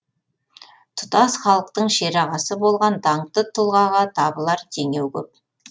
тұтас халықтың шерағасы болған даңқты тұлғаға табылар теңеу көп